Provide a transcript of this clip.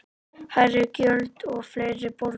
Hærri gjöld og fleiri borga